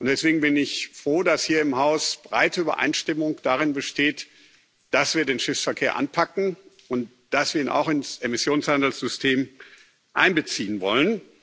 Deswegen bin ich froh, dass hier im Haus breite Übereinstimmung darin besteht, dass wir den Schiffsverkehr anpacken und dass wir ihn auch ins Emissionshandelssystem einbeziehen wollen.